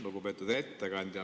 Lugupeetud ettekandja!